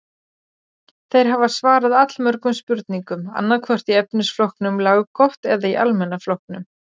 Þeir hafa svarað allmörgum spurningum, annaðhvort í efnisflokknum laggott eða í almenna flokknum.